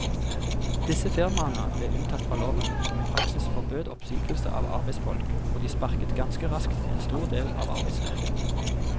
Disse firmaene ble unntatt fra loven som i praksis forbød oppsigelse av arbeidsfolk, og de sparket ganske raskt en stor del av arbeidsstyrken.